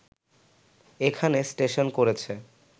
এখানে স্টেশন করেছে